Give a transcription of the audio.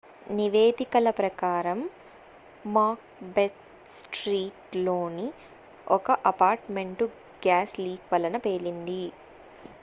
నివేదికల ప్రకారం Macbeth street లోని ఒక అపార్ట్ మెంట్ గ్యాస్ లీక్ వలన పేలింది